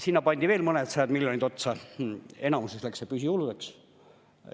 Sinna pandi veel mõnedsajad miljonid otsa, enamuses läks see püsikuludeks.